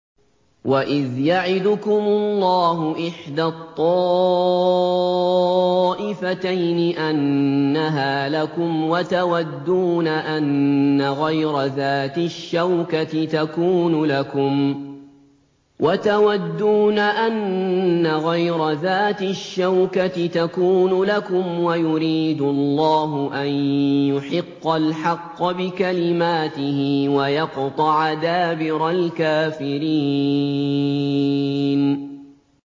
وَإِذْ يَعِدُكُمُ اللَّهُ إِحْدَى الطَّائِفَتَيْنِ أَنَّهَا لَكُمْ وَتَوَدُّونَ أَنَّ غَيْرَ ذَاتِ الشَّوْكَةِ تَكُونُ لَكُمْ وَيُرِيدُ اللَّهُ أَن يُحِقَّ الْحَقَّ بِكَلِمَاتِهِ وَيَقْطَعَ دَابِرَ الْكَافِرِينَ